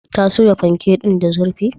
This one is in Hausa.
Ta soya fanke din da zurfi?